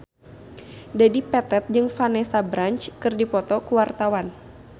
Dedi Petet jeung Vanessa Branch keur dipoto ku wartawan